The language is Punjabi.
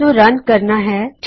ਇਸਨੂੰ ਰਨ ਕਰਨਾ ਹਾਂ